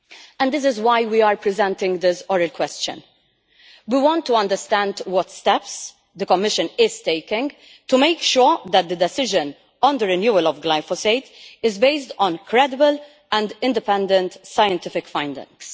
And this is why we are presenting this Oral Question we want to understand what steps the Commission is taking to make sure that the decision on the renewal of glyphosate is based on credible and independent scientific findings.